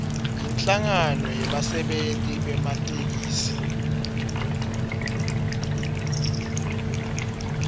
inhlangano yebasebenti bematekisi